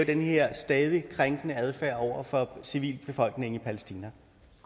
den her stadig krænkende adfærd over for civilbefolkningen i palæstina